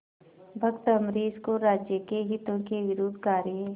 भक्त अम्बरीश को राज्य के हितों के विरुद्ध कार्य